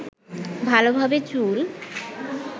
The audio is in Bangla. ভালোভাবে চুল